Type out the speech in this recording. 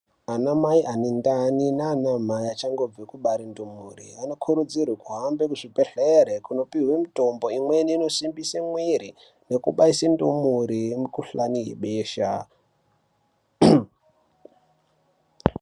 Ana mai ane ndani nana mai achangobve kubare ndumure anokurudzirwe kuhambe ku zvibhedhlere kunopihwe mitombo imweni ino simbise mwiri neku baise ndumure ye mu kuhlani yebesha.